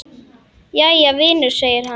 Jæja, vinur segir hann.